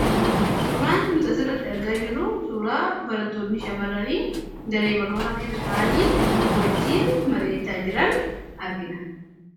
Suuraan nuti as irratti arga jirru, suuraa barattoonni shamaranii daree barnootaa keessa ta'anii wajjiin mari'achaa jiran argina.